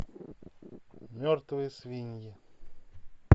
мертвые свиньи